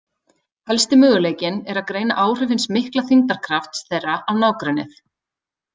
Helsti möguleikinn er að greina áhrif hins mikla þyngdarkrafts þeirra á nágrennið.